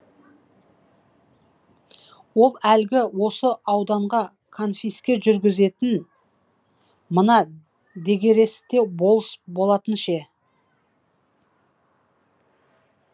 ол әлгі осы ауданға конфиске жүргізетін мына дегересте болыс болатын ше